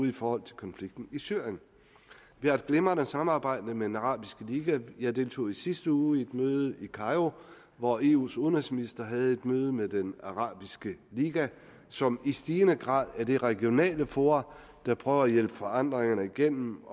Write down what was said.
i forhold til konflikten i syrien vi har et glimrende samarbejde med den arabiske liga jeg deltog i sidste uge i et møde i cairo hvor eus udenrigsminister havde et møde med den arabiske liga som i stigende grad er det regionale forum der prøver at hjælpe forandringerne igennem